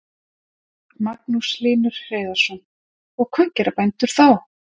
Magnús Hlynur Hreiðarsson: Og hvað gera bændur þá?